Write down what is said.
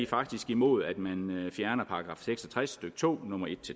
faktisk imod at man fjerner § seks og tres stykke to nummer en